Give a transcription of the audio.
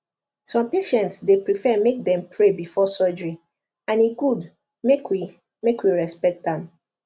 some patients dey prefer make dem pray before surgery and e good make we make we respect am